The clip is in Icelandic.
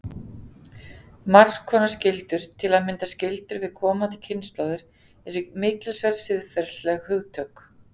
Margs konar skyldur, til að mynda skyldur við komandi kynslóðir, eru mikilsverð siðferðileg hugtök.